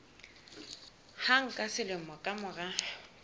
hang ka selemo ka mora